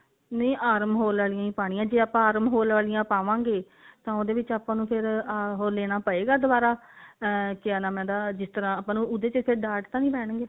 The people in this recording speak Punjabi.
ਨਹੀਂ arm hole ਵਾਲੀਆਂ ਹੀ ਪਾਉਣੀਆਂ ਜੇ ਆਪਾਂ arm hole ਵਾਲੀਆਂ ਪਾਵਾਂਗੇ ਤਾਂ ਉਹਦੇ ਵਿੱਚ ਆਪਾਂ ਨੂੰ ਫ਼ੇਰ ਉਹ ਲੈਣਾ ਪਵੇਗਾ ਦੁਵਾਰਾ ah ਕਿਆ ਨਾਮ ਆ ਇਹਦਾ ਜਿਸ ਤਰ੍ਹਾਂ ਆਪਾਂ ਨੂੰ ਉਹਦੇ ਵਿੱਚ ਫ਼ੇਰ ਡਾਟ ਤਾਂ ਨਹੀਂ ਪੈਣਗੇ